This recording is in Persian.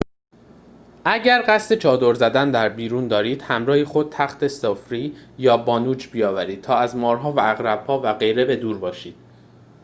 اگر قصد چادر زدن در بیرون دارید همراه خود تخت سفری یا بانوج بیاورید تا از مارها و عقرب‌ها و غیره به دور باشید